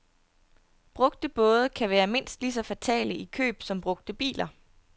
Brugte både kan være mindst lige så fatale i køb som brugte biler.